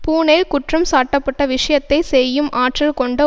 பூனெல் குற்றம்சாட்டப்பட்ட விஷயத்தை செய்யும் ஆற்றல் கொண்ட